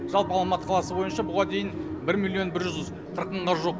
жалпы алматы қаласы бойынша бұған дейін бір миллион бір жүз қырық мыңға жуық